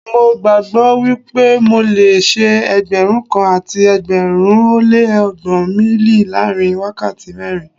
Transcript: Mo gbàgbó wípé mo le ṣe Ẹgbẹ̀rún kan àti ẹgbẹ̀rin ó lé ọgbọ́n míílì láàrin wákàtí mẹ́rin.